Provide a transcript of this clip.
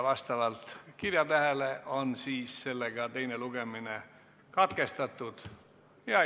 Vastavalt kirjatähele on teine lugemine katkestatud.